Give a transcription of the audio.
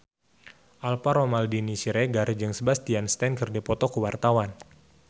Alvaro Maldini Siregar jeung Sebastian Stan keur dipoto ku wartawan